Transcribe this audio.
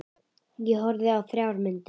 Ég horfði á þrjár myndir.